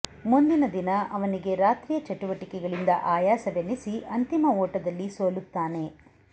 ಮುಂದಿನ ದಿನ ಅವನಿಗೆ ರಾತ್ರಿಯ ಚಟುವಟಿಕೆಗಳಿಂದ ಆಯಾಸವೆನಿಸಿ ಅಂತಿಮ ಓಟದಲ್ಲಿ ಸೋಲುತ್ತಾನೆ